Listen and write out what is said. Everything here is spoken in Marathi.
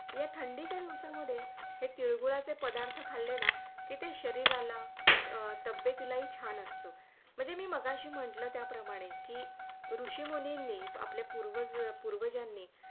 हे थंडीच्या दिवसामधे हे तीळगूळाचे पदार्थ खाल्ले ना की ते शरीराला तब्येतील ही छान असते म्हणजे मी जे मगाशी म्हटलं त्याप्रमाणे कि ऋषि मुनींनि आपल्या पूर्वज पूर्वजांनी